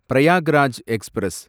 Prayagraj express